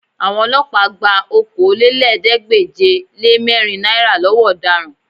Àwọn Ọlọ́pàá gba Okòólélẹ́ẹ̀ẹ́dégbèje-le-mẹ́rin náírà lọ́wọ́ ọ̀daràn